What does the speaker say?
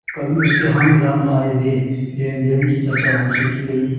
कभी उसके हानिलाभ आयव्यय लेनदेन की चर्चा उनसे की गयी